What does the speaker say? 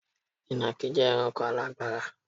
Ìnàkí jẹ́ ẹranko alágbára.